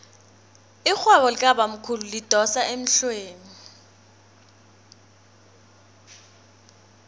irhwebo likabamkhulu lidosa emhlweni